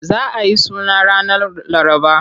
Za a yi suna ranar Laraba.